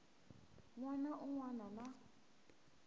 n wana un wana na